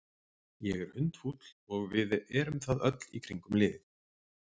Ég er hundfúll og við erum það öll í kringum liðið.